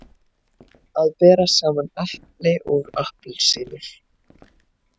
Að bera saman epli og appelsínur